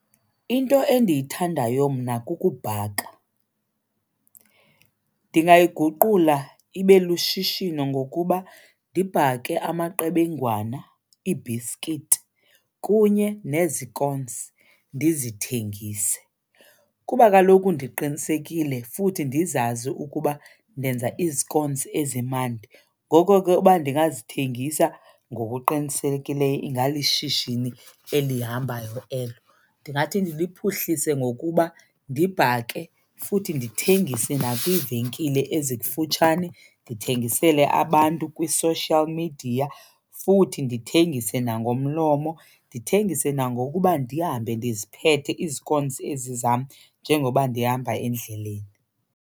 Into endiyithandayo mna kukubhaka. Ndingayi guqula ibe lushishino ngokuba ndibhake amaqebengwana, iibhisikithi kunye nezikonsi ndizithengise kuba kaloku ndiqinisekile futhi ndizazi ukuba ndenza izikonsi ezimandi. Ngoko ke uba ndingazithengisa ngokuqinisekileyo ingalishishini elihambayo elo. Ndingathi ndiliphuhlise ngokuba ndibhake futhi ndithengise nakwiivenkile ezikufutshane, ndithengisele abantu kwi-social media futhi ndithengise nangomlomo. Ndithengise nangokuba ndihambe ndiziphethe izikonsi ezi zam njengoba ndihamba endleleni.